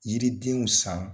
Yiridenw san